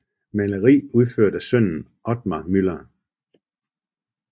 Maleri udført af sønnen Othar Müller